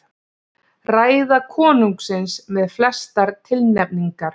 Ræða konungsins með flestar tilnefningar